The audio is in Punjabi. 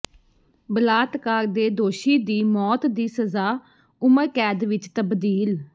ਬਲਾਤਕਾਰ ਦੇ ਦੋਸ਼ੀ ਦੀ ਮੌਤ ਦੀ ਸਜ਼ਾ ਉਮਰ ਕੈਦ ਵਿੱਚ ਤਬਦੀਲ